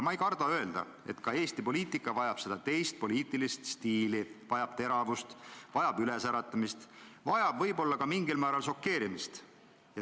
Ma ei karda öelda, et ka Eesti poliitika vajab seda teist poliitilist stiili, vajab teravust, vajab ülesäratamist, vajab võib-olla ka mingil määral šokeerimist.